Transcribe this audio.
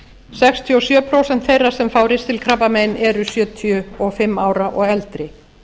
sextíu og sjö prósent þeirra sem fá ristilkrabbamein eru sjötíu og fimm ára og eldri